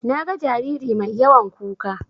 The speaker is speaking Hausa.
Naga jariri mai yawan kuka.